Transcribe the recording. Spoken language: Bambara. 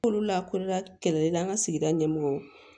Kolo lakorila kɛlɛli la an ka sigida ɲɛmɔgɔw